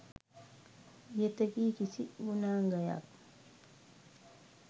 ඉහත කී කිසි ගුණාංගයක්